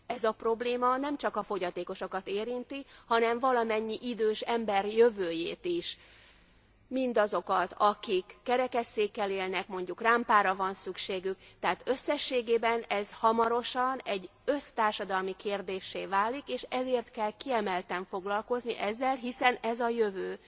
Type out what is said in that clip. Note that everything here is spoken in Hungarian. Ez a probléma nem csak a fogyatékosokat érinti, hanem valamennyi idős ember jövőjét is, mindazokat akik kerekes székkel élnek, mondjuk rámpára van szükségük, tehát összességében ez hamarosan egy össztársadalmi kérdéssé válik, és ezért kell kiemelten foglalkozni ezzel, hiszen ez a jövő.